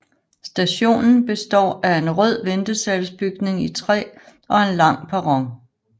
Stationen består af en rød ventesalsbygning i træ og en lang perron